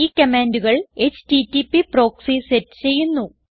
ഈ കമാൻഡുകൾ HTTP proxy set ചെയ്യുന്നു